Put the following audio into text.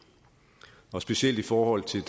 og specielt i forhold til